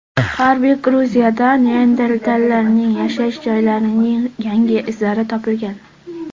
G‘arbiy Gruziyada neandertallarning yashash joylarining yangi izlari topilgan.